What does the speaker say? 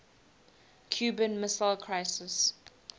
cuban missile crisis